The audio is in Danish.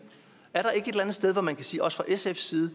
sted hvor man også fra sfs side